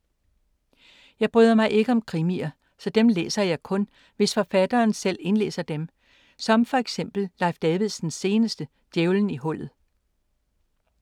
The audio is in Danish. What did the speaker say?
Jeg bryder mig ikke om krimier, så dem læser jeg kun, hvis forfatteren selv indlæser som for eksempel Leif Davidsens seneste, Djævelen i hullet.